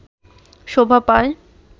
শোভা পায়